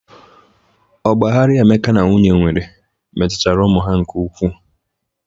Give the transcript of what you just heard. Ọgba aghara Emeka na nwunye nwere metutara ụmụ ha nke ukwu.